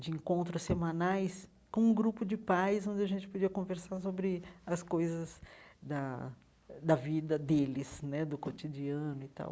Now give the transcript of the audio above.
de encontros semanais com um grupo de pais, onde a gente podia conversar sobre as coisas da da vida deles né, do cotidiano e tal.